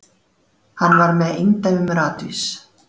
Hann var með eindæmum ratvís.